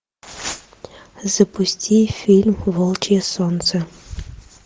запусти фильм волчье солнце